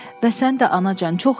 Bəs sən də, anacan, çox işləmə.